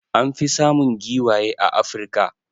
An fi samun giwaye a Africa.